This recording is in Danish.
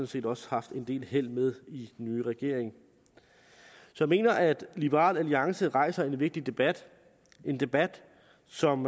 set også haft en del held med i nye regering jeg mener at liberal alliance rejser en vigtig debat en debat som